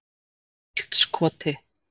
Holtskoti